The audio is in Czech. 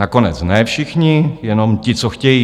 Nakonec ne všichni, jenom ti, co chtějí.